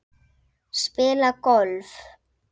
Spila golf?